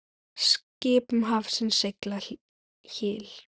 Skip um hafsins sigla hyl.